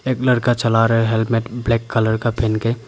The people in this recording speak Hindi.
एक लड़का चला रहा है हेलमेट ब्लैक कलर का पहन के।